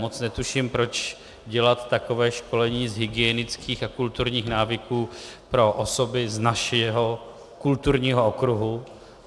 Moc netuším, proč dělat takové školení z hygienických a kulturních návyků pro osoby z našeho kulturního okruhu.